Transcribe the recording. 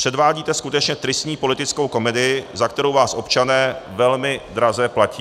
Předvádíte skutečně tristní politickou komedii, za kterou vás občané velmi draze platí.